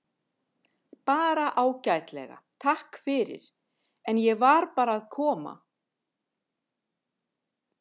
Bara ágætlega, takk fyrir, en ég var bara að koma.